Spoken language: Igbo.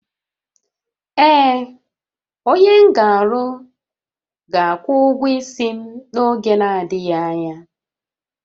Ee, onye m ga-alụ ga-akwụ ụgwọ isi m n'oge na-adịghị anya